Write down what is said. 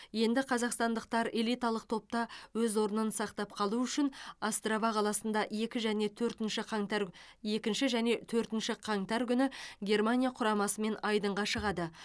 енді қазақстандықтар элиталық топта өз орнын сақтап қалу үшін острава қаласында екі және төртінші қаңтар екінші және төртінші қаңтар күні германия құрамасымен айдынға шығады